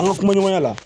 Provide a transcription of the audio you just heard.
An ka kumaɲɔgɔnya la